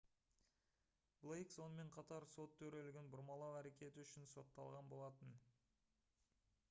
блейк сонымен қатар сот төрелігін бұрмалау әрекеті үшін сотталған болатын